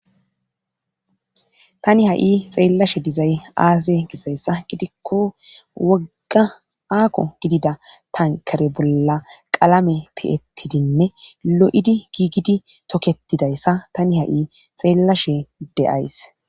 tani ha7i xeellashe dizay aase gizayssa gidikko wogga aako gidida tankare bolla qalame ti7ettidinne lo7idi giigidi toketidayssa tani ha7i xeellashe de7ays